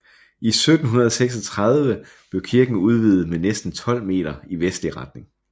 I 1736 blev kirken udvidet med næsten tolv meter i vestlig retning